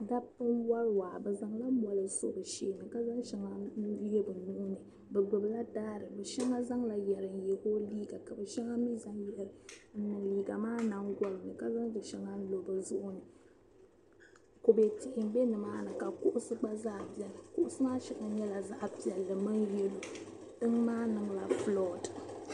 Daba n-wari waa. Bi zaŋ la mɔri n so bi shee ni ka zaŋ shɛŋa n-yɛ bi nuhi ni. Bi gbibi la dari. Bi shɛŋa zaŋla yeri n-yɛ o liiga ka bi shɛŋa mi zaŋ n-niŋ liiga maa nyingɔli ni ka zaŋ di shɛŋa n-lo bi zuɣu ni. Kube tihi m be ni maa ni ka kuɣisi gba zaa beni. Kuɣisi maa shɛŋa nyɛla zaɣa piɛlli min yellow. Tiŋ maa niŋ la floored.